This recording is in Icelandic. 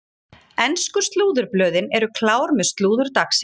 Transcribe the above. Ensku slúðurblöðin eru klár með slúður dagsins.